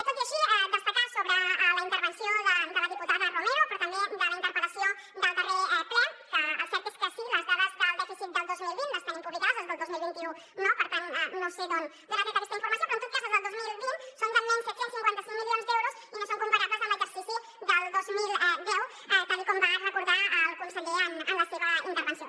tot i així destacar sobre la intervenció de la diputada romero però també de la interpel·lació del darrer ple que el cert és que sí les dades del dèficit del dos mil vint les tenim publicades les del dos mil vint u no per tant no sé d’on ha tret aquesta informació però en tot cas les del dos mil vint són de menys set cents i cinquanta cinc milions d’euros i no són compara·bles amb l’exercici del dos mil deu tal com va recordar el conseller en la seva intervenció